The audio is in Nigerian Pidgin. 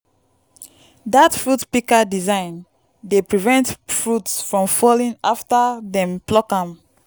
dat fruit pika design dey prevent fruit from fallen afta dem pluck am